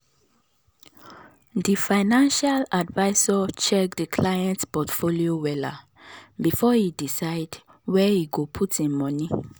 the financial advisor check the client portfolio wella before e decide where him go put him money.